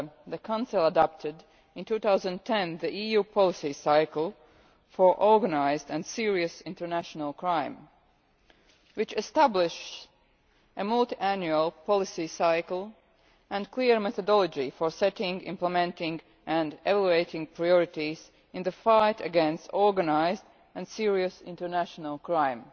the Council adopted in 2010 the EU policy cycle for organised and serious international crime, which established a multiannual policy cycle and a clear methodology for setting, implementing and elevating priorities in the fight against organised and serious international crime.